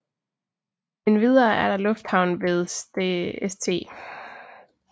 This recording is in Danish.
Endvidere er der lufthavnen ved St